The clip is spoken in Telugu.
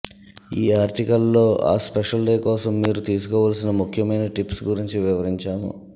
ఈ ఆర్టికల్ లో ఆ స్పెషల్ డే కోసం మీరు తీసుకోవలసిన ముఖ్యమైన టిప్స్ గురించి వివరించాము